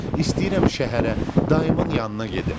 İstəyirəm şəhərə, dayımın yanına gedim.